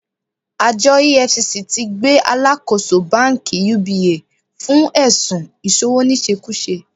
Àjọ EFCC ti gbé Alákòóso Báńkì UBA fún ẹ̀sun ìṣowóníṣekúṣe